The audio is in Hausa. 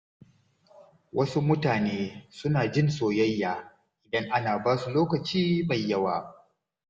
Wasu mutane suna jin soyayya idan ana ba su lokaci mai yawa.